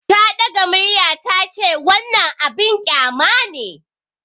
Ta ɗaga murya ta ce, "Wannan abin kyama ne!"